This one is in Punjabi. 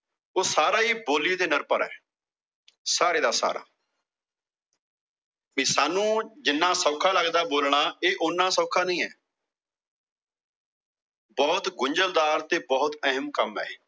ਉਹ ਸਾਰਾ ਈ ਬੋਲੀ ਤੇ ਨਿਰਭਰ ਆ। ਸਾਰੇ ਦਾ ਸਾਰਾ ਤੇ ਸਾਨੂੰ ਜਿੰਨਾ ਸੌਖਾ ਲਗਦਾ ਬੋਲਣਾ, ਇਹ ਓਨਾ ਸੌਖਾ ਨਈ ਐ। ਬਹੁਤ ਗੁੰਝਲਦਾਰ ਤੇ ਬਹੁਤ ਅਹਿਮ ਕੰਮ ਆ ਇਹ।